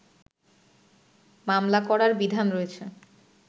মামলা করার বিধান রয়েছে